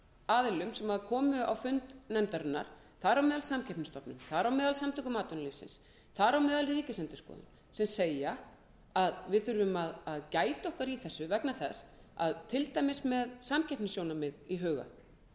aðilum sem komu á fund nefndarinnar þar á meðal samkeppniseftirlitið samtök atvinnulífsins og ríkisendurskoðun sem segja að við þurfum að gæta okkar í þessu til dæmis með samkeppnissjónarmið í huga